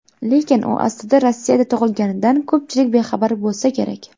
Lekin u aslida Rossiyada tug‘ilganidan ko‘pchilik bexabar bo‘lsa kerak.